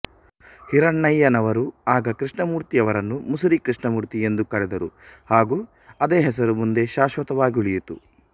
ಹಿರಣ್ಣಯ್ಯನವರು ಆಗ ಕೃಷ್ಣಮೂರ್ತಿಯವರನ್ನು ಮುಸುರಿ ಕೃಷ್ಣಮೂರ್ತಿ ಎಂದು ಕರೆದರು ಹಾಗು ಅದೇ ಹೆಸರು ಮುಂದೆ ಶಾಶ್ವತವಾಗುಳಿಯಿತು